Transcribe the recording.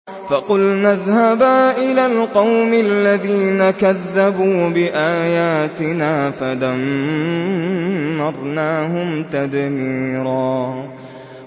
فَقُلْنَا اذْهَبَا إِلَى الْقَوْمِ الَّذِينَ كَذَّبُوا بِآيَاتِنَا فَدَمَّرْنَاهُمْ تَدْمِيرًا